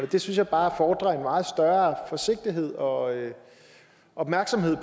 det synes jeg bare fordrer en meget større forsigtighed og opmærksomhed i